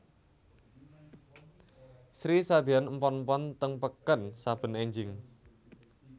Sri sadeyan empon empon teng peken saben enjing